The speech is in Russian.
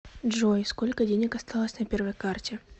джой сколько денег осталось на первой карте